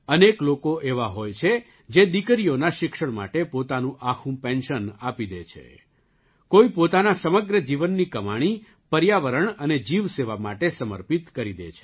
અનેક લોકો એવા હોય છે જે દીકરીઓના શિક્ષણ માટે પોતાનું આખું પેન્શન આપી દે છે કોઈ પોતાના સમગ્ર જીવનની કમાણી પર્યાવરણ અને જીવસેવા માટે સમર્પિત કરી દે છે